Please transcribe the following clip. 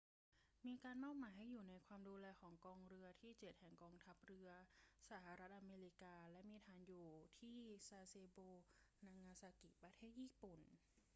มีการมอบหมายให้อยู่ในความดูแลของกองเรือที่เจ็ดแห่งกองทัพเรือสหรัฐอเมริกาและมีฐานอยู่ที่ซาเซโบ นางาซากิ ประเทศญี่ปุ่น